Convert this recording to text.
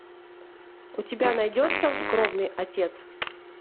у тебя найдется кровный отец